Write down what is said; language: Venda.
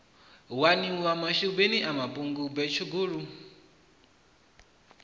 waniwa mashubini a mapungubwe tshugulu